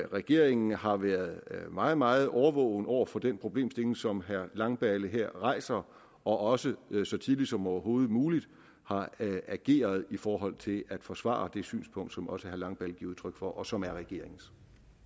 regeringen har været meget meget overvågen over for den problemstilling som herre langballe her rejser og også så tidligt som overhovedet muligt har ageret i forhold til at forsvare det synspunkt som også herre langballe giver udtryk for og som er regeringens